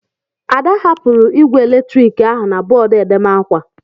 Ada hapụrụ igwe eletrik ahụ na bọọdụ edemakwa.